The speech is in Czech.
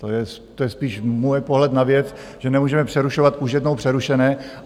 To je spíš můj pohled na věc, že nemůžeme přerušovat už jednou přerušené.